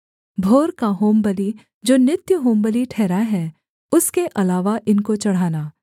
भोर का होमबलि जो नित्य होमबलि ठहरा है उसके अलावा इनको चढ़ाना